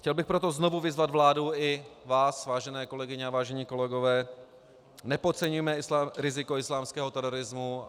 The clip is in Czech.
Chtěl bych proto znovu vyzvat vládu i vás, vážené kolegyně a vážení kolegové, nepodceňujme riziko islámského terorismu.